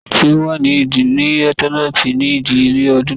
Ti o wà ni leuitenant ni idiyele odun to koja